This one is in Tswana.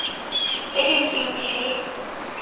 tse di ntseng di le